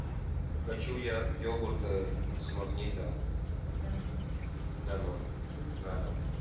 хочу я йогурт с магнита данон на дом